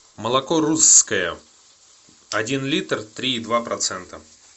молоко русское один литр три и два процента